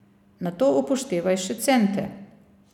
Nato upoštevaj še cente.